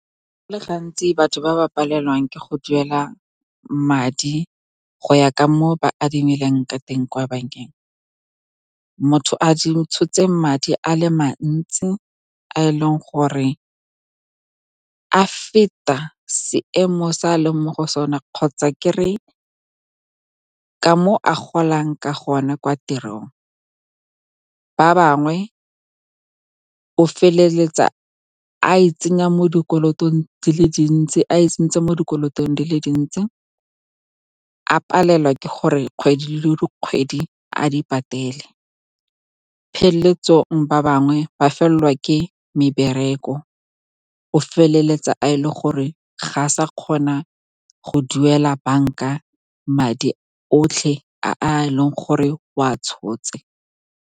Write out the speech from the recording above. Gantsi, batho ba ba palelwang ke go duela madi go ya ka mo o ba adimileng ka teng kwa bankeng, motho a tshotse madi a le mantsi a eleng gore a feta seemo sa a leng mo go sone, kgotsa mo a golang ka gona kwa tirong. Ba bangwe o feleletsa a itsentshe mo dikolotong di le dintsi, a palelwa ke gore kgwedi le kgwedi a di patele. Pheletsong, ba bangwe ba felelwa ke mebereko, o feleletsa e le gore ga a sa kgona go duela banka madi otlhe a e leng gore o a tshotse.